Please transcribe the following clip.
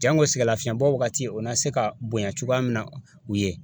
Jango sɛgɛlafiɲɛbɔ wagati o na se ka bonya cogoya min na u ye